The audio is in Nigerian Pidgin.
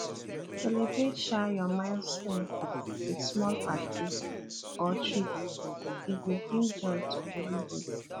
celebrate um your milestone with small party or treat e go bring joy to everybody